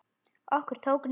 Okkur tók niðri!